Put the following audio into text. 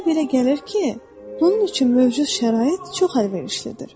Mənə belə gəlir ki, bunun üçün mövcud şərait çox əlverişlidir.